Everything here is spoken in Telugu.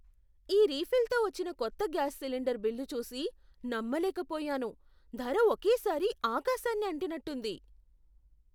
ఈ రీఫిల్తో వచ్చిన కొత్త గ్యాస్ సిలిండర్ బిల్లు చూసి నమ్మలేకపోయాను. ధర ఒకే సారి ఆకాశాన్ని అంటినట్టుంది.